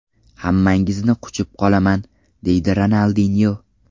Hammangizni quchib qolaman”, deydi Ronaldinyo.